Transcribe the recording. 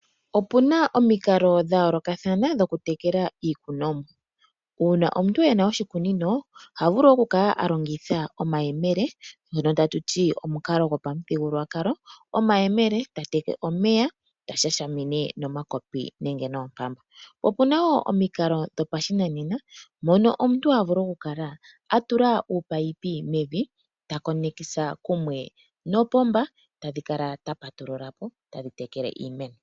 Opu na omikalo dha yoolokathana dhokutekela iikunomwa. Uuna omuntu ena oshikunino oha vulu okukala a longitha omayemele, ngono tatu ti omukalo gopamuthigululwakalo, oshoka oha longitha omayemele okuteka omeya ta shashamine nomakopi nenge noompamba. Opu na wo omikalo dhopashinanena, mono omuntu ha vulu okukala a tula oopaipi mevi ta konekisa kumwe nopomba, ta patulula ko dho tadhi kala tadhi tekele iimeno.